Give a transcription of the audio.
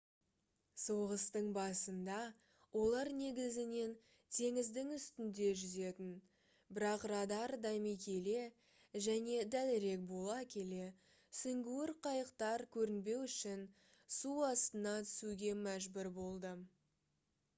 соғыстың басында олар негізінен теңіздің үстінде жүзетін бірақ радар дами келе және дәлірек бола келе сүңгуір қайықтар көрінбеу үшін су астына түсуге мәжбүр болды